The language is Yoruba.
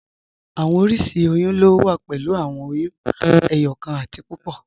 Awọn oriṣiríṣi oyún lo wà pẹ̀lú awọn oyún ẹyọkan àti púpọ́.